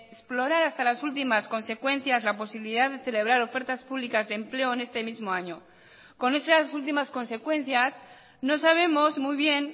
explorar hasta las últimas consecuencias la posibilidad de celebrar ofertas públicas de empleo en este mismo año con esas últimas consecuencias no sabemos muy bien